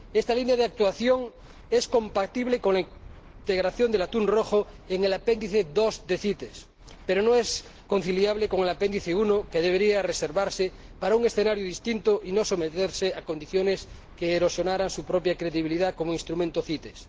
Esta línea de actuación es compatible con la integración del atún rojo en el Apéndice 2 de la CITES, pero no es conciliable con el Apéndice 1, que debería reservarse para un escenario distinto y no someterse a condiciones que erosionaran su propia credibilidad como instrumento CITES.